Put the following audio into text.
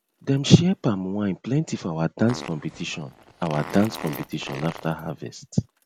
dem share palm wine plenty for our dance competition our dance competition after harvest